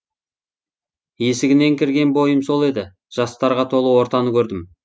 есігінен кірген бойым сол еді жастарға толы ортаны көрдім